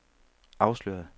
afsløret